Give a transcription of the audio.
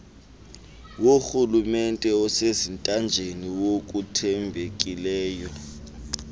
worhulumente osezintanjeni ngokuthembekileyo